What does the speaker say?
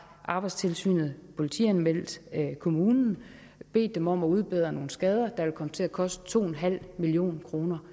arbejdstilsynet politianmeldt kommunen og bedt dem om at udbedre nogle skader vil komme til at koste to en halv million kroner